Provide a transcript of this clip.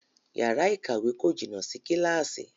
Yàrá ìkàwé kò jìnà sí Kíláàsì